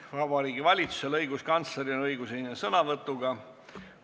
Ka Vabariigi Valitsusel ja õiguskantsleril on õigus esineda sõnavõtuga.